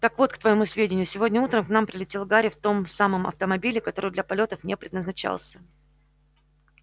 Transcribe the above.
так вот к твоему сведению сегодня утром к нам прилетел гарри в том самом автомобиле который для полётов не предназначался